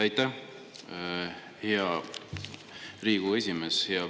Aitäh, hea Riigikogu esimees!